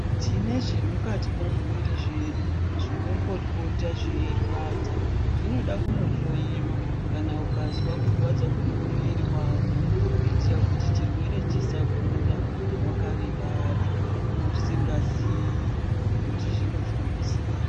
Tine zvemukati momuviri zvedu zvinombopota zveirwadza. Zvinoda kunohloyiwa kana ukazwa kurwadza kwemuviri wako kuitira kuti chirwere chisakura wakarivara usingazii kuti zvinofamba sei.